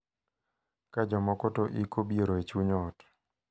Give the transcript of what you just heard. Ka jomoko to iko biero e chuny ot.